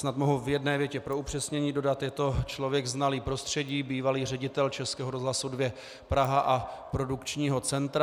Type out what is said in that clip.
Snad mohu v jedné větě pro upřesnění dodat - je to člověk znalý prostředí, bývalý ředitel Českého rozhlasu 2 Praha a Produkčního centra.